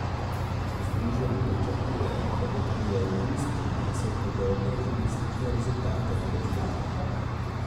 V združenju pričakujejo, da bo tudi avgust prinesel podobne turistične rezultate kot julij.